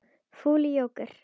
Fúli jóker.